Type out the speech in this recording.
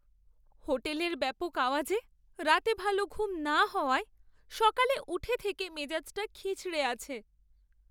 হোটেলের ব্যাপক আওয়াজে রাতে ভালো ঘুম না হওয়ায় সকালে উঠে থেকে মেজাজটা খিঁচড়ে আছে।